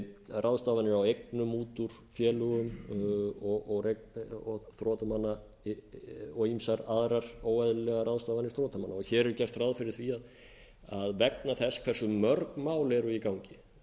ráðstafanir á eignum út úr félögum þrotamanna og ýmsar aðrar óeðlilegar ráðstafanir þrotamanna hér er gert ráð fyrir því að vegna þess hvers mörg mál eru í gangi